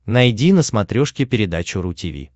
найди на смотрешке передачу ру ти ви